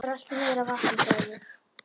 Rölti niður að vatni sagði ég.